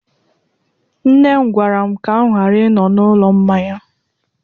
Nne m gwara m ka m ghara ịnọ n'ụlọ mmanya